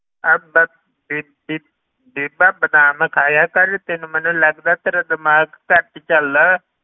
ਅਹ ਬ~ ਬੀ~ ਬੀ~ ਬੀਬਾ ਬਦਾਮ ਖਾਇਆ ਕਰ ਤੈਨੂੰ ਮੈਨੂੰ ਲੱਗਦਾ ਤੇਰਾ ਦਿਮਾਗ ਘੱਟ ਚਲਦਾ,